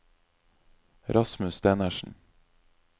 Rasmus Stenersen